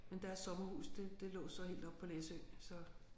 Men deres sommerhus det det lå så helt oppe på Læsø så